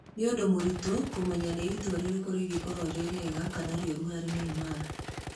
"Nĩ ũndũ mũritũ kũmenya nĩ itua rĩrĩkũ rĩngĩkorũo rĩ rĩega kana rĩũru harĩ Neymar.